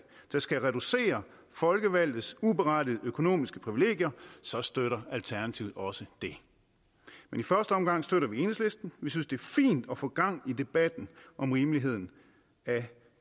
der skal reducere folkevalgtes uberettigede økonomiske privilegier så støtter alternativet også det i første omgang støtter vi enhedslisten vi synes det er fint at få gang i debatten om rimeligheden af